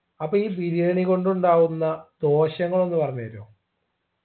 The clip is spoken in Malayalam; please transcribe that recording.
അപ്പോ ഈ ബിരിയാണി കൊണ്ടുണ്ടാവുന്ന പോഷക ഒന്നു പറഞ്ഞരോ